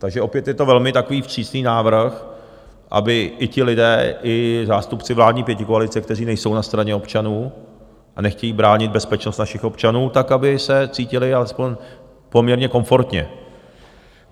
Takže opět je to velmi takový vstřícný návrh, aby i ti lidé, i zástupci vládní pětikoalice, kteří nejsou na straně občanů a nechtějí bránit bezpečnost našich občanů, tak aby se cítili alespoň poměrně komfortně.